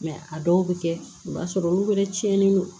a dɔw bɛ kɛ i b'a sɔrɔ olu wɛrɛ tiɲɛnen don